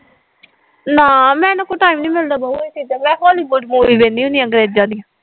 ਨਾ ਮੈਨੂੰ ਕੋ ਟਾਈਮ ਨੀ ਮਿਲਦਾ ਦੋਵੇ ਚੀਜ਼ਾਂ ਹੋਲੀਵੁੱਡ ਮੂਵੀ ਵੇਹਣਦੀ ਹੁੰਦੀ ਅੰਗਰੇਜ਼ਾਂ ਦੀਆ